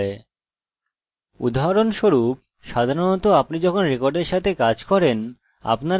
উদাহরণস্বরূপ সাধারণত আপনি যখন রেকর্ডের সাথে কাজ শুরু করেন আপনার কাছে id হতে পারে যা একটি সাংখ্যিক মান